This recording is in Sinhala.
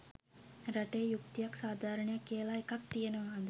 රටේ යුක්තියක් සාධාරණයක් කියලා එකක් තියෙනවාද.